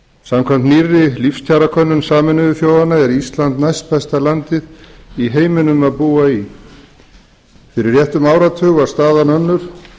samkvæmt nýrri lífskjarakönnun sameinuðu þjóðanna er ísland næstbesta landið í heiminum að búa í fyrir réttum áratug var staðan önnur